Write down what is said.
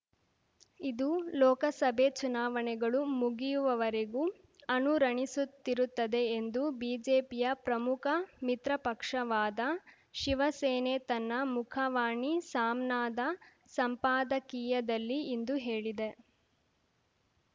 ಇದು ಲೋಕಸಭೆ ಚುನಾವಣೆಗಳು ಮುಗಿಯುವವರೆಗೂ ಅನುರಣಿಸುತ್ತಿರುತ್ತದೆ ಎಂದು ಬಿಜೆಪಿಯ ಪ್ರಮುಖ ಮಿತ್ರಪಕ್ಷವಾದ ಶಿವಸೇನೆ ತನ್ನ ಮುಖವಾಣಿ ಸಾಮ್ನಾದ ಸಂಪಾದಕೀಯದಲ್ಲಿ ಇಂದು ಹೇಳಿದೆ